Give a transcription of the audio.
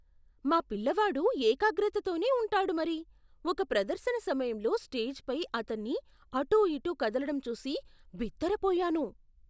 మా పిల్లవాడు ఏకాగ్రతతోనే ఉంటాడు మరి, ఒక ప్రదర్శన సమయంలో స్టేజ్ పై అతన్ని అటుఇటు కదలటం చూసి బిత్తరపోయాను.